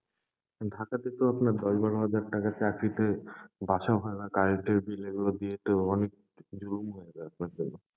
ঢাকাতে তো আপনার দশ বারো হাজার টাকার চাকরিতে বাসা ভাড়া, current এর bill এগুলো দিয়ে তো অনেক, জুলুম হয়ে যাবে আপনার জন্য।